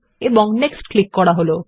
এবং next click করা হল